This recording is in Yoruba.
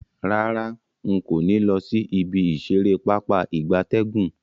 Rara, nko ni lo si ibi isere Pápá ìgbatẹ́gùn.